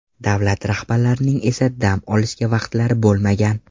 Davlat rahbarlarining esa dam olishga vaqtlari bo‘lmagan.